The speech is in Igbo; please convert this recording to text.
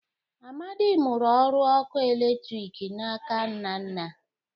Amadị mụrụ ọrụ ọkụ eletriki n' aka Nnanna